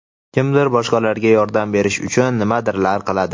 kimdir boshqalarga yordam berish uchun nimadirlar qiladi.